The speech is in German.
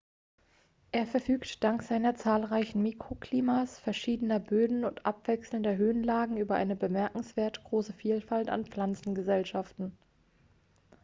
er verfügt dank seiner zahlreichen mikroklimas verschiedener böden und abwechselnder höhenlagen über eine bemerkenswert große vielfalt an pflanzengesellschaften